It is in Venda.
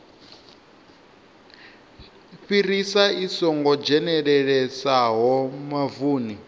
fhirisa i songo dzhenelelesaho mavuni